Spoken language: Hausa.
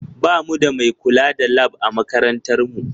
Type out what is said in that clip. Ba mu da mai kula da Lab a makarantar mu